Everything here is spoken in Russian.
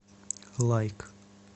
лайк